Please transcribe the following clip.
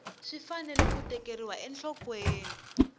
swi fanele ku tekeriwa enhlokweni